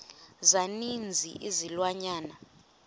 za ninzi izilwanyana